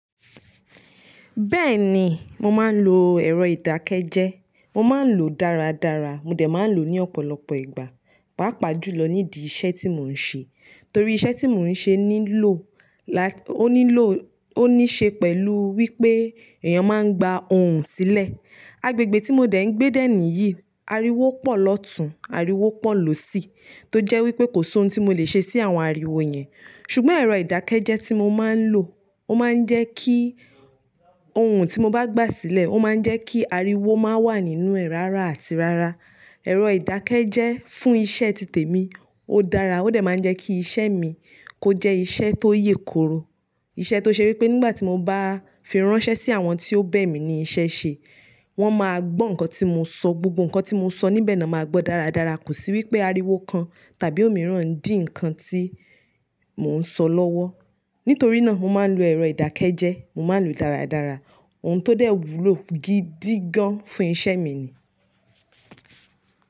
Bẹ́ẹ̀ni, mo máa ń lo ẹ̀rọ ìdákẹ́jẹ́. Mo máa ń lò ó dáradára, mo dẹ̀ máa ń lò ó ní ọ̀pọ̀lọpọ̀ ìgbà, pàápàá jùlọ nídìí iṣẹ́ tí mò ń ṣe. Torí iṣẹ́ tí mò ń ṣe nílò, la-- ó nílò, ó ní ṣe pẹ̀lú wípé èèyàn máa ń gba ohùn sílẹ̀. Agbègbè tí mo dẹ̀ ń gbé dẹ́ẹ̀ni yìí, ariwo pọ̀ lọ́tùn, ariwo pọ̀ lòsì, tó jẹ́ wípé kò sí ohun tí mo le ṣe sí àwọn ariwo yẹn. Ṣùgbọ́n ẹ̀rọ ìdákẹ́jẹ́ tí mo máa ń lò, ó máa ń jẹ́ kí ohun tí mo bá gbà sílẹ̀, ó máa ń jẹ́ kí ariwo máa wà nínú ẹ̀ rárá àti rárá. Ẹ̀rọ ìdákẹ́jẹ́ fún iṣẹ́ títẹ̀ mi, ó dára, ó dẹ̀ máa ń jẹ́ kí iṣẹ́ mi kó jẹ́ iṣẹ́ tó yè kooro. Iṣẹ́ tó ṣe wípé nígbà tí mo bá fi ránṣẹ́ sí àwọn tí ó bẹ̀ mí ní iṣẹ́ ṣe, wọ́n máa gbọ́ nǹkan tí mo sọ, gbogbo nǹkan tí mo sọ níbẹ̀ ni wọ́n máa gbọ́ dáradára. Kò sí wípé ariwo kan tàbí òmíràn ń dí ǹkan tí mò ń sọ lọ́wọ́. Nítorí náà mo máa ń lo ẹ̀rọ ìdákẹ́jẹ́, mo máa ń lò ó dáradára. Ohun tó dẹ̀ wúlò gidi gan-an fún iṣẹ́ mi ni.